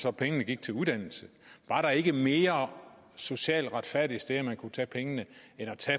om pengene gik til uddannelse er der ikke mere socialt retfærdige steder som man kunne tage pengene